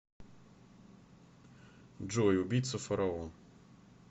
джой убийца фараон